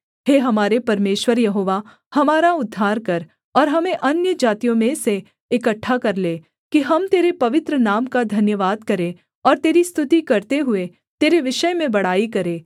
हे हमारे परमेश्वर यहोवा हमारा उद्धार कर और हमें अन्यजातियों में से इकट्ठा कर ले कि हम तेरे पवित्र नाम का धन्यवाद करें और तेरी स्तुति करते हुए तेरे विषय में बड़ाई करें